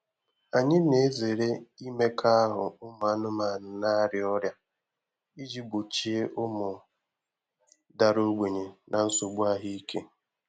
Anyị na-ezere imekọahụ ụmụ anụmanụ na-arịa ọrịa iji gbochie ụmụ dara ogbenye na nsogbu ahụike.